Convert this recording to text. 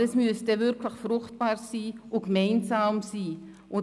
Aber es muss wirklich fruchtbar und gemeinsam sein.